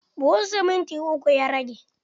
Buhun siminti uku ya rage.